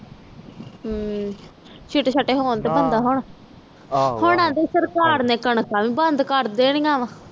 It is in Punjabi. ਹਮ ਹੋਣ ਤਾ ਵਬੰਦਾ ਹੁਣ ਹੁਣ ਅੰਡੇ ਸਾਕਾਰ ਨੇ ਕਣਕ ਵੀ ਬੰਦ ਕਰ ਦੇਣੀ ਵਾ